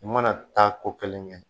U mana taa ko kelen kɛ